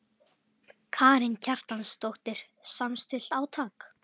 Karen Kjartansdóttir: Samstillt átak?